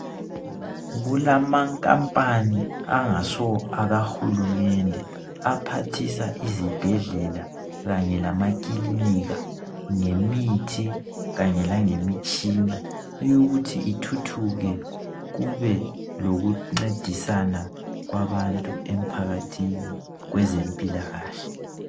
kulama nkambani angaso akahulumende aphathisa izibhedlela kanye lamakilinika ngemithi kanye langemitshina eyokuthi kuthuthuke kube lokuncedisana kwabantu emphakathini kwezempilakahle